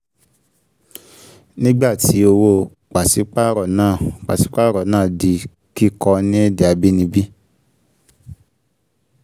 nígbà tí owó pàsípàrọ̀ náà pàsípàrọ̀ náà di kíkọ ní èdè abínibí